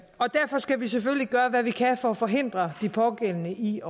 derfor skal vi selvfølgelig gøre hvad vi kan for at forhindre de pågældende i